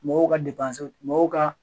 Mɔgɔw ka mɔgɔw ka